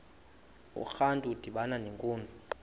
urantu udibana nenkunzi